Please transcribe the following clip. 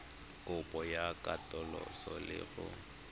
kopo ya katoloso le go